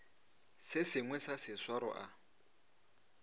se sengwe sa seswaro a